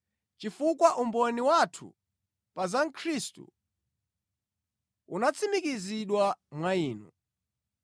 chifukwa umboni wathu pa za Khristu unatsimikizidwa mwa inu.